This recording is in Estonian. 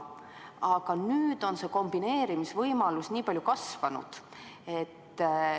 Aga nüüd on kombineerimisvõimalus nii palju kasvanud.